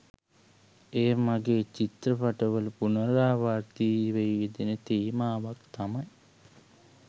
එය මගෙ චිත්‍රපට වල පුනරාවර්තීව යෙදෙන තේමාවක් තමයි